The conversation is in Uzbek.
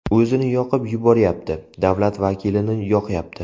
O‘zini yoqib yuboryapti , davlat vakilini yoqyapti .